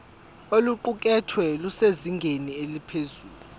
oluqukethwe lusezingeni eliphezulu